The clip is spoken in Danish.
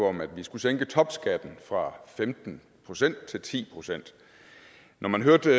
om at vi skulle sænke topskatten fra femten procent til ti procent når man hørte